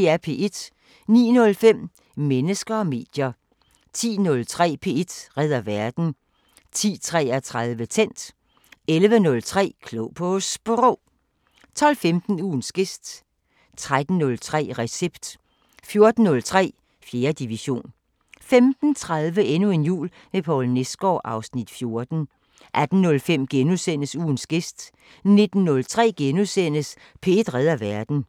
09:05: Mennesker og medier 10:03: P1 redder verden 10:33: Tændt 11:03: Klog på Sprog 12:15: Ugens gæst 13:03: Recept 14:03: 4. division 15:30: Endnu en jul med Poul Nesgaard (Afs. 14) 18:05: Ugens gæst * 19:03: P1 redder verden *